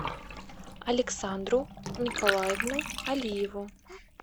александру николаевну алиеву